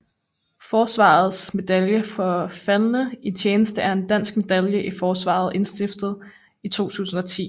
Forsvarets Medalje for Faldne i tjeneste er en dansk medalje i Forsvaret indstiftet i 2010